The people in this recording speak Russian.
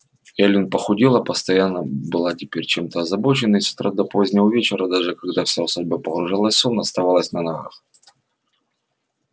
эллин похудела постоянно была теперь чем-то озабочена и с утра до позднего вечера даже когда вся усадьба погружалась в сон оставалась на ногах